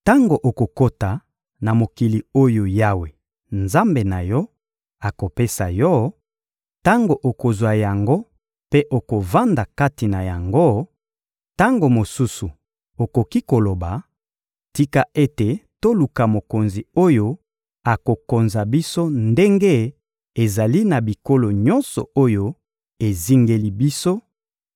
Tango okokota na mokili oyo Yawe, Nzambe na yo, akopesa yo; tango okozwa yango mpe okovanda kati na yango, tango mosusu okoki koloba: «Tika ete toluka mokonzi oyo akokonza biso ndenge ezali na bikolo nyonso oyo ezingeli biso,»